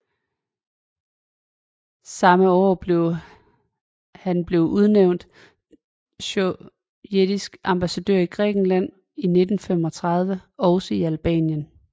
Samme år blev han blev udnævnt sovjetisk ambassadør i Grækenland og i 1935 også i Albanien